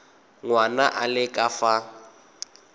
ngwana a le ka fa